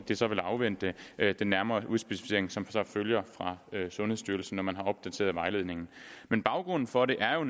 det så vil afvente den nærmere udspecificering som følger fra sundhedsstyrelsen når man har opdateret vejledningen baggrunden for det er jo